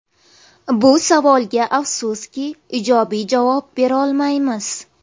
Bu savolga, afsuski, ijobiy javob berolmaymiz.